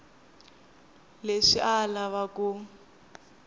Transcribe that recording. leswi a a lava ku